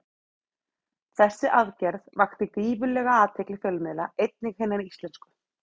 Þessi aðgerð vakti gífurlega athygli fjölmiðla, einnig hinna íslensku.